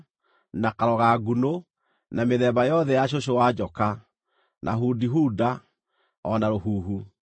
na karoga-ngunũ, na mĩthemba yothe ya cũcũ-wa-njoka, na hudihuda, o na rũhuhu.